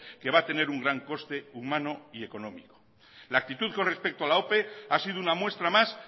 que va a tener un gran coste humano y económico la actitud con respecto a la ope ha sido una muestra más